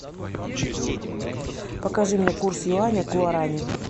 покажи мне курс юаня к гуаране